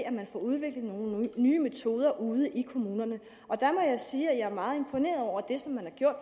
at man får udviklet nogle nye metoder ude i kommunerne og der må jeg sige at jeg er meget imponeret over det som man har gjort